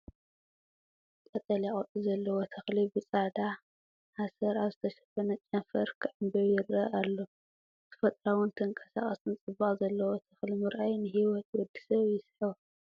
ቀጠልያ ቆጽሊ ዘለዎ ተኽሊ ብጻዕዳ ሓሰር ኣብ ዝተሸፈነ ጨንፈር ክዕምብብ ይርአ ኣሎ። ተፈጥሮኣውን ተንቀሳቓስን ጽባቐ ዘለዎ ተኽሊምርኣይ ንሂወት ወዲ ሰብ ይስሕቦ።